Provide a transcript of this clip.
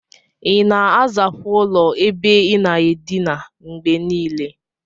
Ina azakwa ụlọ ebe inaa edinaa ngbenile?